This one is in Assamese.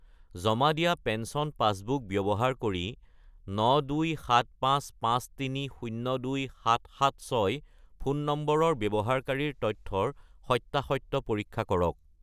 জমা দিয়া পেঞ্চন পাছবুক ব্যৱহাৰ কৰি 92755302776 ফোন নম্বৰৰ ব্যৱহাৰকাৰীৰ তথ্যৰ সত্য়াসত্য় পৰীক্ষা কৰক